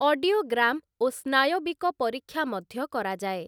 Audiogram ଓ ସ୍ନାୟବିକ ପରୀକ୍ଷା ମଧ୍ୟ କରାଯାଏ ।